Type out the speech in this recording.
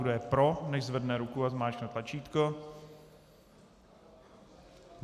Kdo je pro, nechť zvedne ruku a zmáčkne tlačítko.